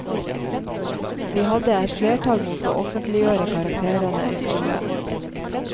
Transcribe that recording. Vi hadde et flertall mot å offentliggjøre karakterer i skolen.